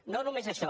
no només això